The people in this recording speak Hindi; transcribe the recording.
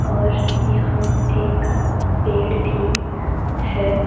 और यहां एक पेड़ भी हैं।